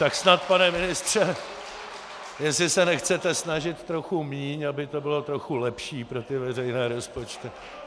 Tak snad, pane ministře, jestli se nechcete snažit trochu míň, aby to bylo trochu lepší pro ty veřejné rozpočty.